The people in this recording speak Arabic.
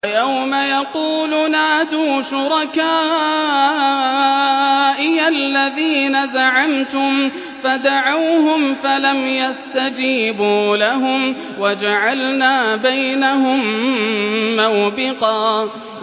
وَيَوْمَ يَقُولُ نَادُوا شُرَكَائِيَ الَّذِينَ زَعَمْتُمْ فَدَعَوْهُمْ فَلَمْ يَسْتَجِيبُوا لَهُمْ وَجَعَلْنَا بَيْنَهُم مَّوْبِقًا